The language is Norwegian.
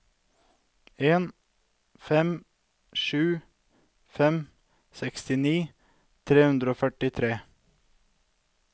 en fem sju fem sekstini tre hundre og førtitre